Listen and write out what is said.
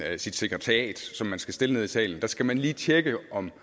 af sit sekretariat og som man skal stille nede i salen skal man lige tjekke om